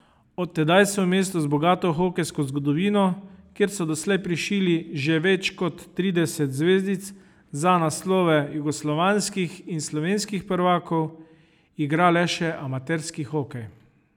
Od tedaj se v mestu z bogato hokejsko zgodovino, kjer so doslej prišili že več kot trideset zvezdic za naslove jugoslovanskih in slovenskih prvakov, igra le še amaterski hokej.